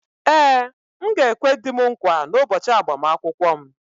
Ee, m ga-ekwe di m nkwa n’ụbọchị agbamakwụkwọ m